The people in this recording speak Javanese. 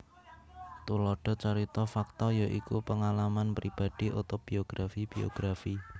Thulada carita fakta ya iku pengalam pibadi otobiografi biografi